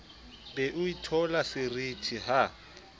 be o itheola seriti ha